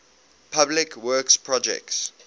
public works projects